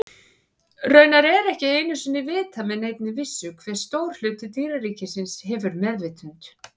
Raunar er ekki einu sinni vitað með neinni vissu hve stór hluti dýraríkisins hefur meðvitund.